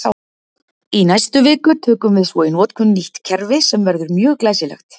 Í næstu viku tökum við svo í notkun nýtt kerfi sem verður mjög glæsilegt!